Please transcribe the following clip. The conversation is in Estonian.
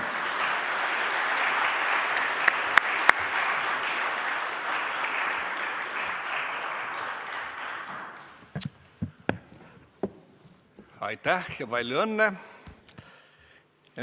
Aitäh ja palju õnne!